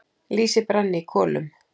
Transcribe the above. Lýsi brann í kolum.